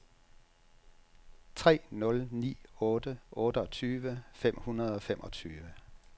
tre nul ni otte otteogtyve fem hundrede og femogtyve